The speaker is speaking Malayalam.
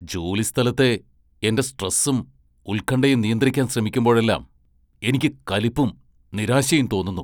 ജോലിസ്ഥലത്തെ എന്റെ സ്ട്രെസ്സും ഉൽകണ്ഠയും നിയന്ത്രിക്കാൻ ശ്രമിക്കുമ്പഴെല്ലാം എനിക്ക് കലിപ്പും, നിരാശയും തോന്നുന്നു.